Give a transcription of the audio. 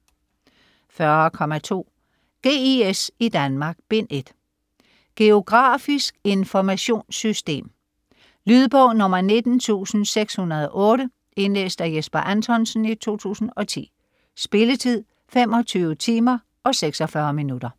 40.2 GIS i Danmark: Bind 1 Geografisk informationssystem. Lydbog 19608 Indlæst af Jesper Anthonsen, 2010. Spilletid: 25 timer, 46 minutter.